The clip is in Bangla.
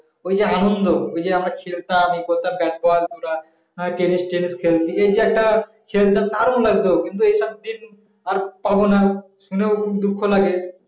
এই যে আনন্দ এই যে আমরা খেলতাম ব্যাট বল আমরা টেনিস খেলতাম বা এই যে একটা খেলতাম দারুন লাগতো কিন্তু এই সব দিন আর পাবো না শুনে দুঃখ লাগে